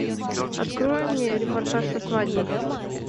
открой мне репортаж со свадьбы